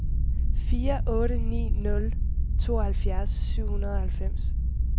fire otte ni nul tooghalvfjerds syv hundrede og halvfems